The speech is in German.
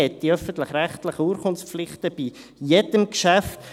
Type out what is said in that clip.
Man hat die öffentlich-rechtlichen Urkundenpflichten bei jedem Geschäft.